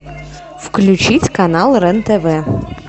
включить канал рен тв